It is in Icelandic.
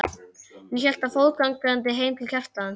og hélt fótgangandi heim til Kjartans.